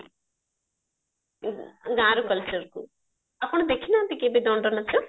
ଗାଁର cultureକୁ ଆପଣ ଦେଖିନାହାନ୍ତି କେବେ ଦଣ୍ଡ ନାଚ